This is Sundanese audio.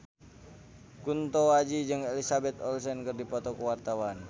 Kunto Aji jeung Elizabeth Olsen keur dipoto ku wartawan